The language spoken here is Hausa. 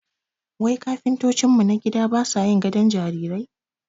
Wai kafintocin mu na gida basa yin gabon jarirai?